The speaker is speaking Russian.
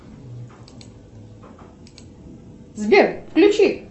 сбер включи